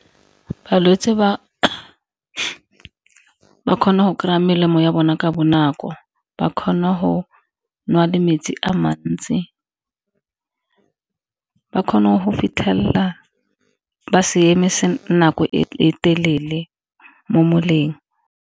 Balwetse ba kgona go kry-a melemo ya bona ka bonako, ba kgona go nwa le metsi a mantsi, ba kgone go fitlhelela ba se eme nako e telele mo moleng.